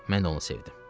Mən də onu sevdim.